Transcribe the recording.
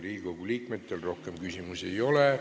Riigikogu liikmetel rohkem küsimusi ei ole.